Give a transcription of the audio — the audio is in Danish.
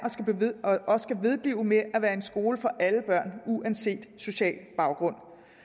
og skal vedblive med at være skoler for alle børn uanset social baggrund